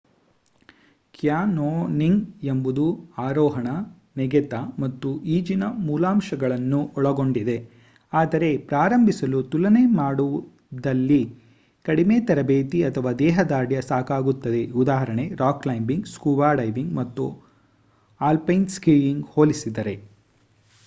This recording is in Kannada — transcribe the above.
ಕ್ಯಾನ್ಯೋನಿಂಗ್ ಎಂಬುದು ಆರೋಹಣ ನೆಗೆತ ಮತ್ತು ಈಜಿನ ಮೂಲಾಂಶಗಳನ್ನು ಒಳಗೊಂಡಿದೆ-- ಆದರೆ ಪ್ರಾರಂಭಿಸಲು ತುಲನೆ ಮಾಡಿದಲ್ಲಿ ಕಡಿಮೆ ತರಬೇತಿ ಅಥವಾ ದೇಹದಾರ್ಢ್ಯ ಸಾಕಾಗುತ್ತದೆ ಉದಾ: ರಾಕ್ ಕ್ಲೈಂಬಿಂಗ್ ಸ್ಕೂಬಾ ಡೈವಿಂಗ್ ಅಥವಾ ಆಲ್ಪೈನ್ ಸ್ಕೀಯಿಂಗ್‌ಗೆ ಹೋಲಿಸಿದರೆ